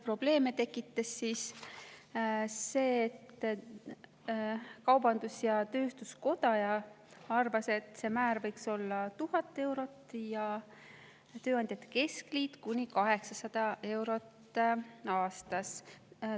Probleeme tekitas see, et kaubandus-tööstuskoda arvas, et see määr võiks olla 1000 eurot ja tööandjate keskliidu kuni 800 eurot aastas.